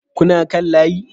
Kuna kan layi